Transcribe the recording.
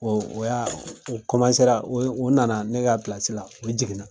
o y'aa o ra o ye o nana ne ka la, o jiginna.